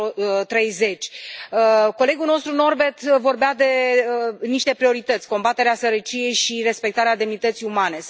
2030. Colegul nostru Norbert vorbea de niște priorități combaterea sărăciei și respectarea demnității umane.